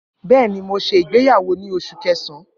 Bẹẹni, Mo ṣe igbeyawo ni Oṣu Kẹsan